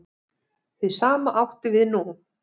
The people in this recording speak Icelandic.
Hið sama átti við nú.